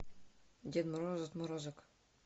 дед мороз отморозок